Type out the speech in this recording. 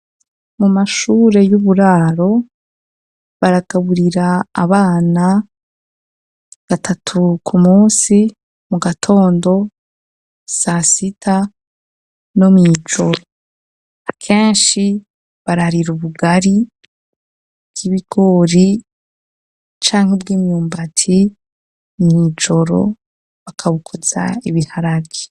Mu mashure y'uburaro baragaburira abana gatatu ku musi, mu gatondo, sasita no mw'ijoro. Akenshi bararira ubugari bw'ibigori canke bw'imyumbati, mw'ijoro bakabukoza ibiharage.